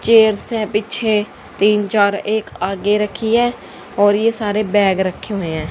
Chairs हैं पीछे तीन चार एक आगे रखी है और ये सारे बैग रखे हुए हैं।